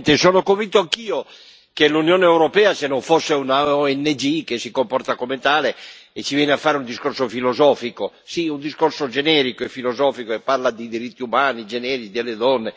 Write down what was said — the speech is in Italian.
Signor Presidente, onorevoli colleghi, sono convinto anch'io che l'Unione europea, se non fosse una ONG che si comporta come tale e ci viene a fare un discorso filosofico, sì, un discorso generico e filosofico e parla di diritti umani, di generi, delle donne,